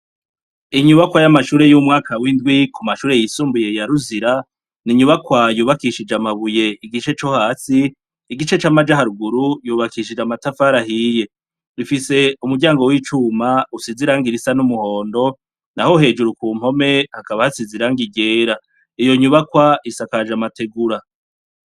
Inyubakwa y'amashure y'umwaka w'indwi ku mashure yisumbuye yaruzira ni inyubakwa yubakishije amabuye igice co hasi igice c'amajaharuguru yubakishije amatafarahiye rifise umuryango w'icuma usiziranga irisa n'umuhondo na ho hejuru ku mpome hakaba hasizirang irera iyo nyubakwa akaja amategura.